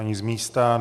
Ani z místa.